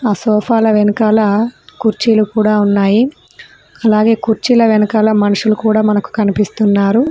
ఆ సోఫాల వెనకాల కుర్చీలు కూడా ఉన్నాయి అలాగే కుర్చీల వెనకాల మనుషులు కూడా మనకు కనిపిస్తున్నారు.